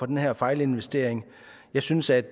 den her fejlinvestering jeg synes at